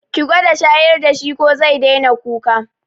Ki gwada shayar da shi ko zai daina kuka.